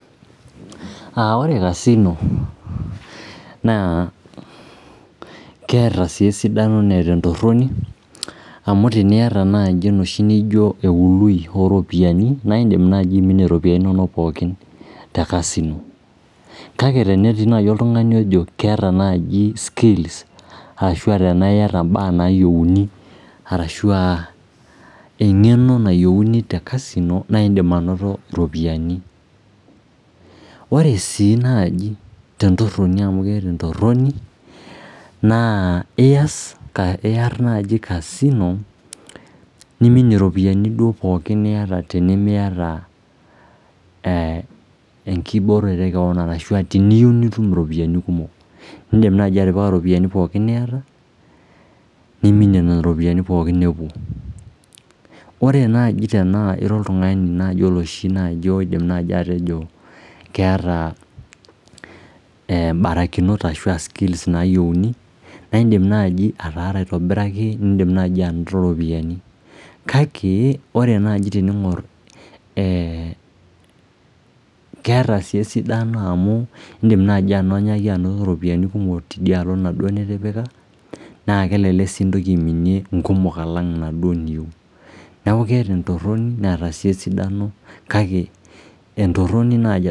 Ore kasino naa eeta sii esidano neeta entorroni amu teniata naaji enoshi nijo eului oo ropiyiani naaidim naai aminie iropiyiani inonok pookin te kasino. Kake tenetii naai oltung'ani ojo keeta naai skills ashua tenaiyata mbaak nayieuni arashu eng'eno nayieuni te kasino naindim ainoto iropiyiani. Ore sii naaji tentorroni amu keeta entorroni naa ias, iarr naaji kasino niminie iropiyiani duo pookin niata tinimiata enkibooroto e keon arashu teniyieu nitum iropiyiani kumok. Iindim naaji atipika iropiyiani pookin niata niminie nena ropiyiani pookin nepwo. Ore naaji tenaa ira oltung'ani naaji oshi naaji ooidim atejo keeta imbarakinot ashu skills naayieuni naindim naai ataara aitobiraki niindim naaji anoto iropiyiani. Kake ore naaji teniing'urr keeta sii esidano amu indim naaji anyaaki anoto iropiyiani kumok tidialo inaduo nitipika naa kelelek sii intoki aiminie nkumok alang inaduo niyieu. Neeku keeta entorroni neeta sii esidano kake entorroni naaji